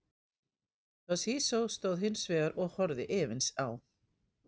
Toshizo stóð hins vegar og horfði efins á.